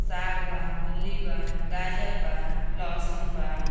साग बा मूली बा गाजर बा लहसून बा।